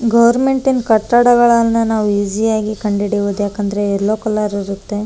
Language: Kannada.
ಗೋರ್ಮೆಂಟ್ ಕಟ್ಟಡಗಳನ್ನೆಲ್ಲ ನಾವು ಇಸೀ ಯಾಗ್ ಕಂಡುಹಿಡಿಬಹುದು ಯಾಕಂದ್ರೆ ಎಲ್ಲೋ ಕಲರ್ ಇರುತ್ತೆ.